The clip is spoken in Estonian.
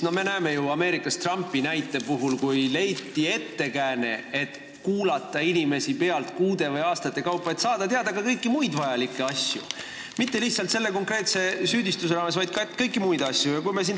Me ju nägime Ameerikas Trumpi näitel, kuidas leiti ettekääne, et kuulata inimesi pealt kuude või aastate kaupa, et saada teada mitte lihtsalt asju konkreetse süüdistuse vallas, vaid ka kõiki muid vajalikke asju.